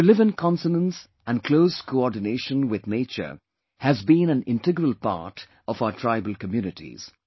To live in consonance and closed coordination with the nature has been an integral part of our tribal communities